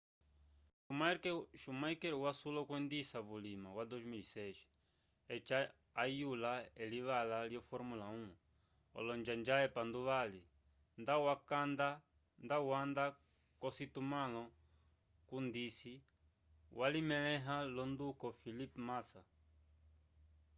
schumacher wasula okwendisa vulima wa 2006 eci ayula elivala lyo formula 1 olonjanja epanduvali nda wanda k'ocitumãlo cundisi walilemẽha l'onduko felipe massa